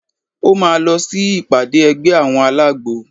Ó má lọ sí ìpàdé ẹgbẹ́ àwọn alágbo.